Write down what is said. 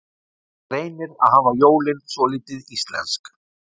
Reynir að hafa jólin svolítið íslensk